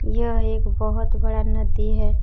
यह एक बहुत बड़ा नदी है।